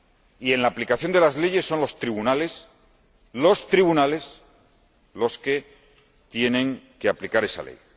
Y, en la aplicación de las leyes, son los tribunales los que tienen que aplicar esa